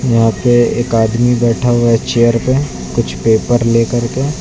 यहाँ पे एक आदमी बैठा हुआ है चेयर पे कुछ पेपर लेकर के।